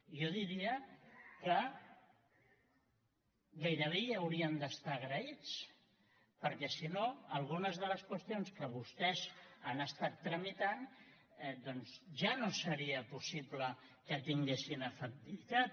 jo diria que gairebé hi haurien d’estar agraïts perquè si no algunes de les qüestions que vostès han estat tramitant doncs ja no seria possible que tinguessin efectivitat